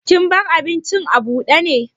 Kin bar abincin abude ne?